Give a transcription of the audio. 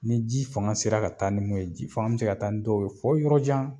Ni ji fanga sera ka taa ni mun ye ji fanga bi se ka taa ni dɔw ye fo yɔrɔjan